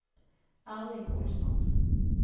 Erling Olsson